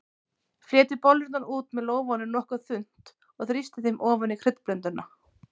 Fletjið bollurnar út með lófanum nokkuð þunnt og þrýstið þeim ofan í kryddblönduna.